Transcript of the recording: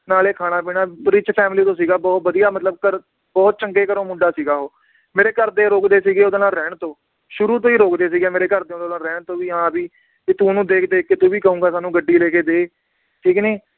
ਨਾਲੇ ਖਾਣਾ ਪੀਣਾ rich family ਤੋਂ ਸੀਗਾ ਬਹੁਤ ਵਧੀਆ ਮਤਲਬ ਘਰ ਬਹੁਤ ਚੰਗੇ ਘਰੋਂ ਮੁੰਡਾ ਸੀਗਾ ਉਹ ਮੇਰੇ ਘਰਦੇ ਰੋਕਦੇ ਸੀਗੇ ਓਹਦੇ ਨਾਲ ਰਹਿਣ ਤੋਂ, ਸ਼ੁਰੂ ਤੋਂ ਹੀ ਰੋਕਦੇ ਸੀਗੇ ਮੇਰੇ ਘਰਦੇ ਓਹਦੇ ਨਾਲ ਰਹਿਣ ਤੋਂ ਵੀ ਹਾਂ ਵੀ ਕਿ ਤੂੰ ਓਹਨੂੰ ਦੇਖ ਦੇਖ ਕੇ ਤੂੰ ਵੀ ਕਹੂੰਗਾ ਮੈਨੂੰ ਗੱਡੀ ਲੈਕੇ ਦੇ ਠੀਕ ਨੀ